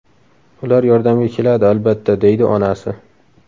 Ular yordamga keladi albatta”, deydi onasi.